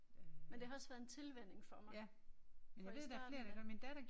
Men det har også været en tilvænning for mig. For i starten da